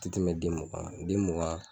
Ti tɛmɛ den mugan kan den mugan